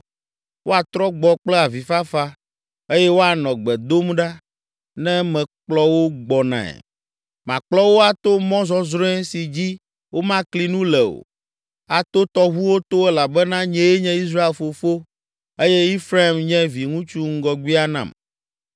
Woatrɔ gbɔ kple avifafa eye woanɔ gbe dom ɖa ne mekplɔ wo gbɔnae. Makplɔ wo ato mɔ zɔzrɔ̃e si dzi womakli nu le o, ato tɔʋuwo to elabena nyee nye Israel fofo eye Efraim nye viŋutsu ŋgɔgbea nam.